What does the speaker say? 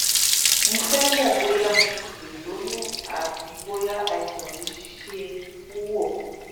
mo fẹ mọ bóyá mo ṣì lè lóyún àti bóyá àìsàn yìí ṣe é wò